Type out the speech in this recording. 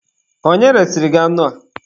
Onye resịrị gị anụ a?